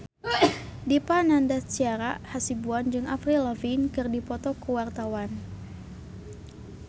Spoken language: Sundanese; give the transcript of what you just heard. Dipa Nandastyra Hasibuan jeung Avril Lavigne keur dipoto ku wartawan